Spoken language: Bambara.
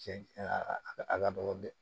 Cɛn a ka a ladon